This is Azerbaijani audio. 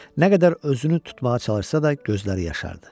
Nə qədər özünü tutmağa çalışsa da, gözləri yaşardı.